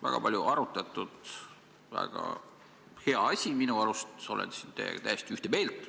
Väga palju arutatud, väga hea asi minu arust, olen siin teiega täiesti ühte meelt.